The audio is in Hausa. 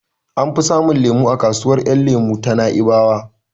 An fi samun lemon zaƙi a kasuwar yan lemo ta Na'ibawa